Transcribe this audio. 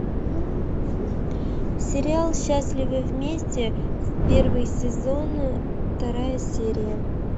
сериал счастливы вместе первый сезон вторая серия